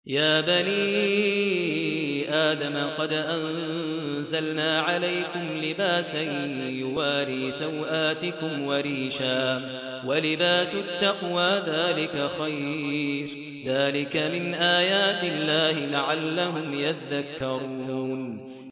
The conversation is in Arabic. يَا بَنِي آدَمَ قَدْ أَنزَلْنَا عَلَيْكُمْ لِبَاسًا يُوَارِي سَوْآتِكُمْ وَرِيشًا ۖ وَلِبَاسُ التَّقْوَىٰ ذَٰلِكَ خَيْرٌ ۚ ذَٰلِكَ مِنْ آيَاتِ اللَّهِ لَعَلَّهُمْ يَذَّكَّرُونَ